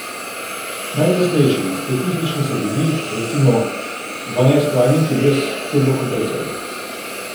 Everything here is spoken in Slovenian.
Najglasnejši in specifični so bili, recimo, dvanajstvaljniki brez turbokompresorja.